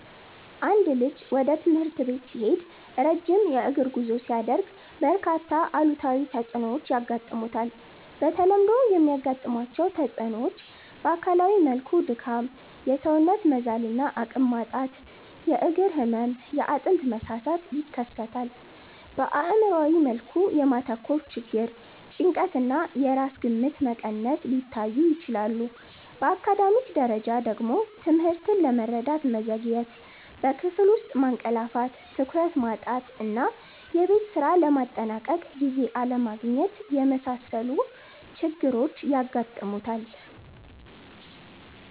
አንድ ልጅ ወደ ትምህርት ቤት ሲሄድ ረጅም የእግር ጉዞ ሲያደርግ፣ በርካታ አሉታዊ ተጽዕኖዎች ያጋጥሙታል። በተለምዶ የሚያጋጥሟቸው ተጽዕኖዎች በአካላዊ መልኩ ድካም፣ የሰውነት መዛል እና አቅም ማጣት፣ የእግር ህመም፣ የአጥንት መሳሳት ይከሰታል። በአእምሯዊ መልኩ የማተኮር ችግር፣ ጭንቀት እና የራስ ግምት መቀነስ ሊታዩ ይችላሉ። በአካዳሚክ ደረጃ ደግሞ ትምህርትን ለመረዳት መዘግየት፣ በክፍል ውስጥ ማንቀላፋት፣ ትኩረት ማጣት እና የቤት ስራ ለማጠናቀቅ ጊዜ አለማግኘት የመሳሰሉ ችግሮች ያጋጥሙታል።